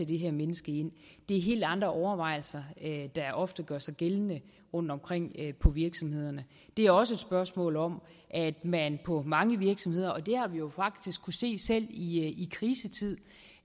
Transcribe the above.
det her menneske ind det er helt andre overvejelser der ofte gør sig gældende rundtomkring på virksomhederne det er også et spørgsmål om at man på mange virksomheder alvorligt det har vi jo faktisk se selv i krisetid